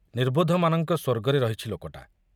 ନିର୍ବୋଧମାନଙ୍କ ସ୍ବର୍ଗରେ ରହିଛି ଲୋକଟା।